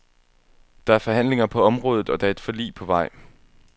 Der er forhandlinger på området, og der er et forlig på vej.